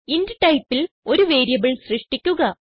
int ടൈപ്പിൽ ഒരു variable സൃഷ്ടിക്കുക